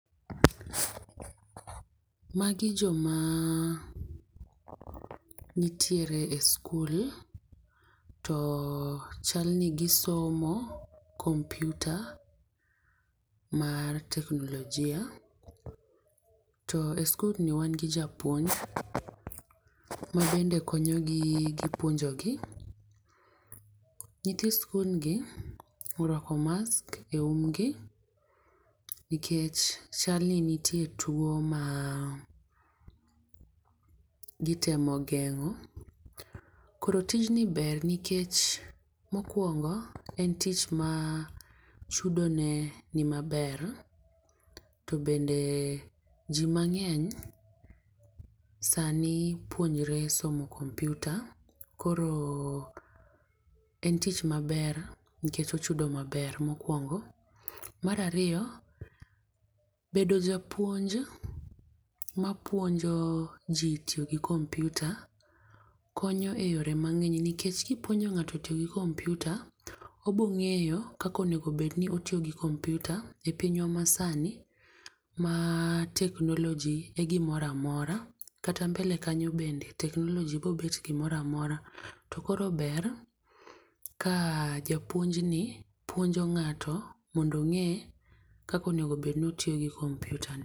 Magi joma nitiere e skul, to chal ni gisomo computer, mar teknolojia. To e skulni wan gi japuonj, ma bende konyogi gi puonjogi. Nyithi skul gi orwako mask e umgi, nikech chalni nitie two ma gitemo geng'o, koro tijni ber nikech mokwongo en tich ma chudo ne ni maber, to bende ji mang'eny sani puonjore somo computer, koro en tich maber nikech ochudo maber mokwongo. Mar ariyo, bedo japuonj, mapuonjo ji tiyo gi computer konyo e yore mang'eny. Nikech ka ipuonjo ng'ato tiyo gi computer, obiro ng'eyo kaka onego bed ni otiyo gi computer e pinywa masani ma technology e gimoro amora. Kata mbele kanyo bende technology biro bedo gimoro amora. To koro ber ka japuonj ni puonjo ng'ato mondo ong'e kaka onego bed ni otiyo gi computer ni.